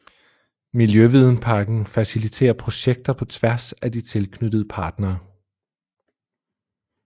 Miljøvidenparken faciliterer projekter på tværs af de tilknyttede partnere